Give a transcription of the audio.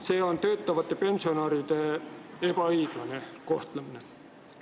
See on töötavate pensionäride ebaõiglane kohtlemine.